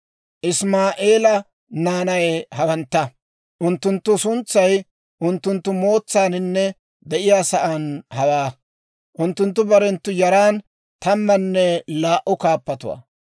Isimaa'eela naanay hawantta; unttunttu suntsay unttunttu mootsaaninne de'iyaa sa'aan hawaa. Unttunttu barenttu yaran tammanne laa"u kaappatuwaa.